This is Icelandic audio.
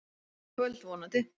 Í kvöld, vonandi.